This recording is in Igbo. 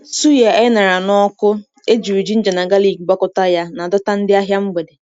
Suya e ṅara n’ọkụ, e jiri ginger na galik gwakọta ya, na-adọta ndị ahịa mgbede.